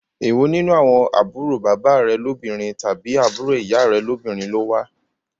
Èwo nínú àwọn àbúrò bàbá rè lóbìnrin tàbí àbúrò ìyá rẹ lóbìnrin ló wá?